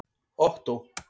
Ottó